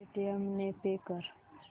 Paytm ने pay कर